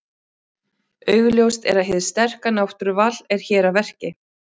Augljóst er að hið sterka náttúruval er hér að verki.